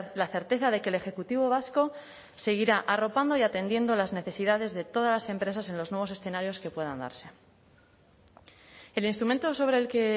la certeza de que el ejecutivo vasco seguirá arropando y atendiendo las necesidades de todas las empresas en los nuevos escenarios que puedan darse el instrumento sobre el que